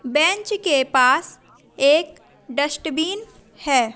Bench के पास एक डस्टबिन है।